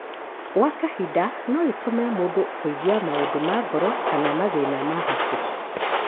Gwa kahinda no ĩtũme mũndũ kũigua maũndũ ma ngoro kana mathina ma hakiri.